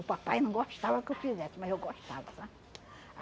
O papai não gostava que eu fizesse, mas eu gostava, sabe?